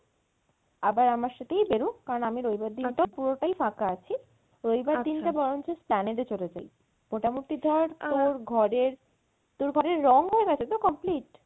আবার আমার সাথেই বেরো কারন আমি রবিবার দিনটা পুরোটাই ফাঁকা আছি রবিবার দিনটা বরঞ্চ esplanade এ চলে যাই মোটামটি ধর তোর ঘরের, তোর ঘরের রং হয়ে গেছে তো complete?